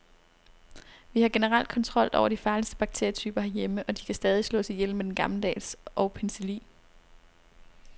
Vi har generelt kontrol over de farligste bakterietyper herhjemme, og de kan stadig slås ihjel med den gammeldags og penicillin.